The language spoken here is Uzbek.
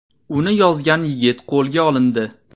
Uni yozgan yigit qo‘lga olindi.